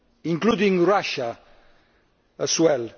including Russia as well.